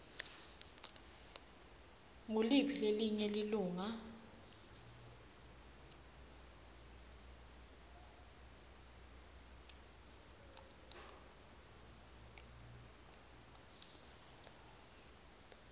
nguliphi lelinye lilunga